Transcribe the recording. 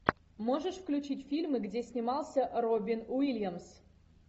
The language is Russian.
можешь включить фильмы где снимался робин уильямс